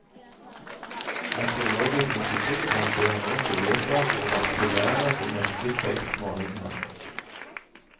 Meteorologisk institutt lanserer nå muligheter for å varsle været de neste seks månedene.